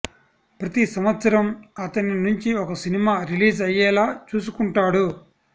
ప్రతి సంవత్సరం అతని నుంచి ఒక సినిమా రిలీజ్ అయ్యేలా చూసుకుంటాడు